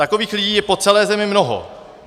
Takových lidí je po celé zemi mnoho.